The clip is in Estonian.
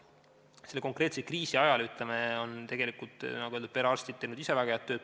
Selle konkreetse kriisi ajal on perearstid ise, nagu öeldud, teinud tegelikult väga head tööd.